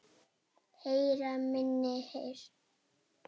Heyra minni heyrn.